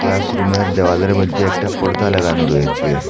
ক্লাসরুমের দেওয়ালের মইধ্যে একটা পর্দা লাগানো রয়েছে।